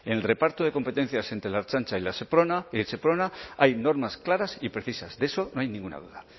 en el reparto de competencias entre la ertzaintza y la seprona y el seprona hay normas claras y precisas de eso no hay ninguna duda